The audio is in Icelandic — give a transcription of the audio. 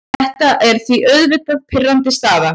Þetta er því auðvitað pirrandi staða.